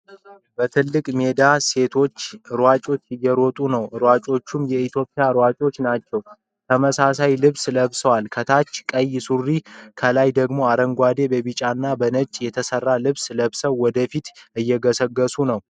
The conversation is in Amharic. በትልቅ ሜዳ ሴቶች ሯጮች እየሮጡ ነው ። ሯጮቹም የኢትዮጵያ ሯጮች ናቸው ። ተመሳሳይ ልብስ ለብሰዋል ። ከታች ቀይ ሱሪ ከላይ ደግሞ አረንጓዴ በቢጫና በነጭ የተሰራ ልብስ ለብሰው ወደፊት እየገሰገሱ ነው።